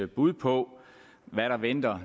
bud på hvad der venter